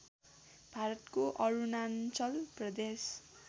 भारतको अरुणाञ्चल प्रदेश